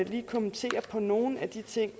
lige kommentere nogle af de ting